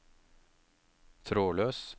trådløs